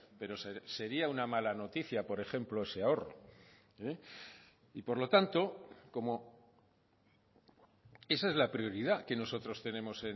pero sería una mala noticia por ejemplo ese ahorro y por lo tanto como esa es la prioridad que nosotros tenemos